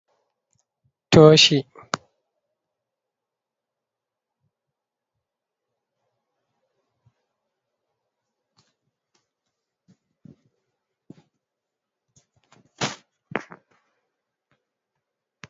Tooshi ɓeɗon naftira bee maajum haa heɓuki ndaara jayri to wola hiite lamtarki.